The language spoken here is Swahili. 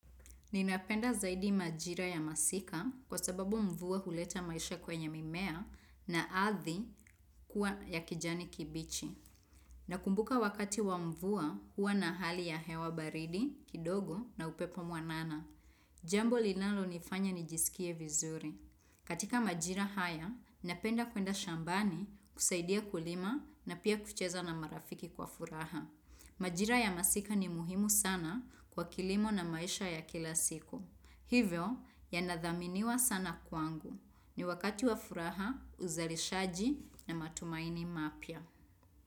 Ninapenda zaidi majira ya masika kwa sababu mvua huleta maisha kwenye mimea, na ardhi kuwa ya kijani kibichi. Nakumbuka wakati wa mvua huwa na hali ya hewa baridi, kidogo na upepo mwanana. Jambo linalonifanya nijisikie vizuri. Katika majira haya, napenda kwenda shambani kusaidia kulima na pia kucheza na marafiki kwa furaha. Majira ya masika ni muhimu sana kwa kilimo na maisha ya kila siku. Hivyo, yanadhaminiwa sana kwangu. Ni wakati wa furaha, uzalishaji na matumaini mapya.